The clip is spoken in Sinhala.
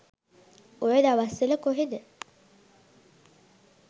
ඔය දවස්වල කොහෙද